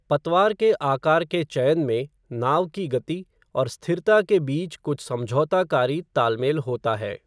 पतवार के आकार के चयन में नाव की गति और स्थिरता के बीच कुछ समझौताकारी तालमेल होता है।